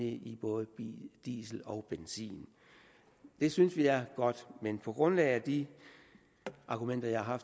i både diesel og benzin det synes vi er godt men på grundlag af de argumenter jeg har